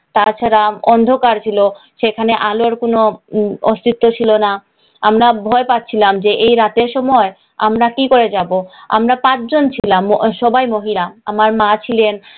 তাছাড়া অন্ধকার ছিলো, আলোর কোন উম অস্তিত্ব ছিলো না। আমরা ভয় পাচ্ছিলাম যে এই রাতের সময় আমরা কি করে যাব, আমরা পাঁচ জন ছিলাম। সবাই মহিলা। আমার মা ছিলেন,